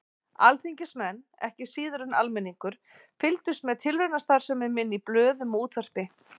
Alþingismenn, ekki síður en almenningur, fylgdust með tilraunastarfsemi minni í blöðum og útvarpi.